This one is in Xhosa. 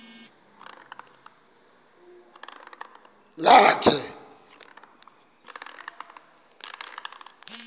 lakhe